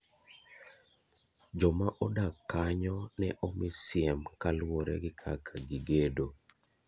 Joma odak kanyo ne omi siem kaluwore gi kaka gigedo.